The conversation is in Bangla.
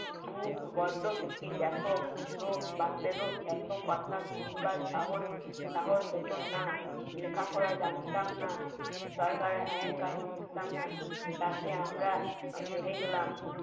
চুপ বড্ড বুক এত কথা শুনবার সাহস সাহস হতো না লেখাপড়া জানতাম না সরকারের আইন কানুন বুঝতাম না তাতে আমরা হেরে গেলাম